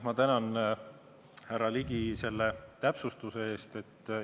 Ma tänan, härra Ligi, selle täpsustuse eest!